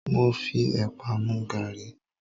Mo fi epa mu garí